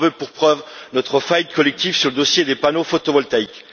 J'en veux pour preuve notre faillite collective sur le dossier des panneaux photovoltaïques.